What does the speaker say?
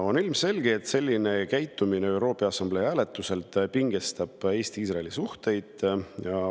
On ilmselge, et selline käitumine ÜRO Peaassamblee hääletusel pingestab Eesti-Iisraeli suhteid.